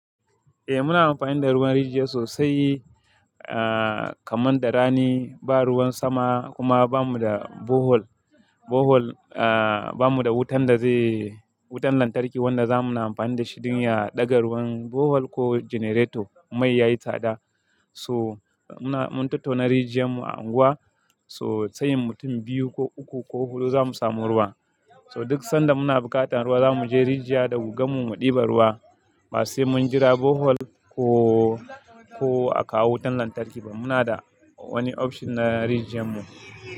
Eh muna amfani da ruwan rijiya sosai, ah, kamar da rani ba ruwan sama kuma bamu da borehole. Borehole, ah, bamu da wutan da zai, wutan lantarki wanda zamuna amfani da shi don ya ɗaga ruwan borehole ko generator. Mai yayi tsada so muna, mun tattauna rijiyar mu a unguwa so tsayin mutum biyu ko uku ko hudu zamu samu ruwa. So duk sanda muna buƙatar ruwa zamu je rijiya da gugan mu ɗiba ruwa. Ba sai mun jira borehole ko, ko a kawo wutan lantarki ba. Muna da wani option na rijiyar mu.